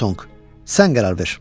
Lo Tonq, sən qərar ver.